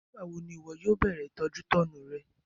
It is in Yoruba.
Nígbàwo ni ìwọ yóò bẹ̀rẹ̀ ìtọ́jútọ́nu rẹ?